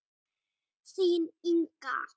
Þín Inga.